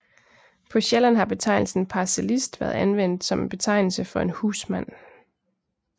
På Sjælland har betegnelsen parcellist været anvendt som en betegnelse for en husmand